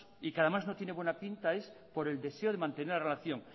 y que además no tiene buena pinta es por el deseo de mantener la relación